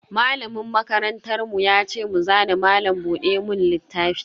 Malamin makarantar mu ya ce mu zana malam buɗe mun littafi.